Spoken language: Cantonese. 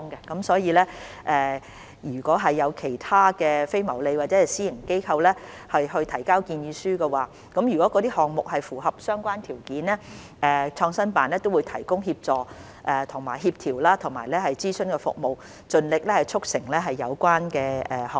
因此，如果有其他非牟利或私營機構提交建議書，而那些項目亦符合相關條件，創新辦都會提供協助、協調和諮詢服務，盡力促成有關的項目。